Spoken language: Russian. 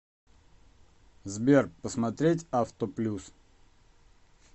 сбер посмотреть авто плюс